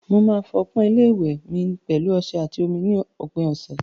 Màá fọ ọpọ́n ilé ìwẹ̀ mi pẹ̀lú ọṣẹ àti omi ní òpin ọ̀sẹ̀.